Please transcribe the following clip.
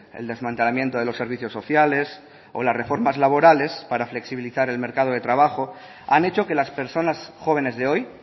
el desmantelamiento de los servicios sociales o las reformas laborales para flexibilizar el mercado de trabajo han hecho que las personas jóvenes de hoy